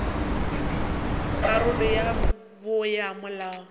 karolo ya bo ya molao